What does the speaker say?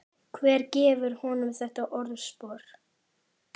Hver gefur honum þetta orðspor?